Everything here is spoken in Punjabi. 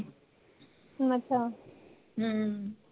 ਅੱਛਾ ਹਮ